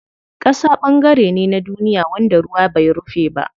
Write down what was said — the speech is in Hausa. Ƙasa ɓangare ne na duniya wanda ruwa bai rufe ba.